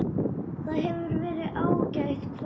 Það hefur verið ágætt kvöld.